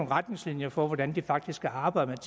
retningslinjer for hvordan det faktisk skal arbejde